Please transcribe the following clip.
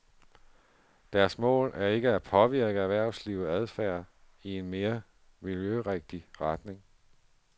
Deres mål er ikke at påvirke erhvervslivets adfærd i en mere miljørigtig retning.